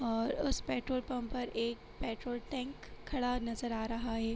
और उस petrol pump पर एक पेट्रोल टेंक खड़ा नजर आ रहा हैं।